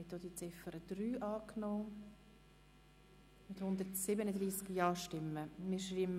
Sie haben auch die Ziffer 3 angenommen mit 137 Ja- bei 0 Nein-Stimmen und 0 Enthaltungen.